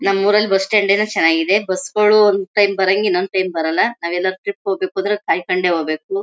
ನಮ್ಮೂರಲ್ಲಿ bus stand ಏನೋ ಚೆನ್ನಾಗಿದೆ ಬಸ್ ಗಳು ಒಂದು ಟೈಮ್ ಬರಂಗೇ ಇನ್ನೊಂದು ಟೈಮ್ ಬರಲ್ಲ ನಾವೆಲ್ಲ ಟ್ರಿಪ್ ಹೋಗ್ಬೇಕುಂದ್ರೆ ಕಾಯ್ ಕೊಂಡೇ ಹೋಗ್ಬೇಕು.